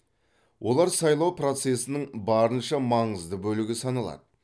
олар сайлау процесінің барынша маңызды бөлігі саналады